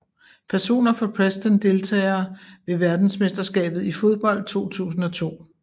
Personer fra Preston Deltagere ved verdensmesterskabet i fodbold 2002